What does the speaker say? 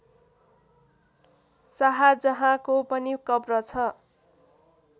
शाहजहाँको पनि कब्र छ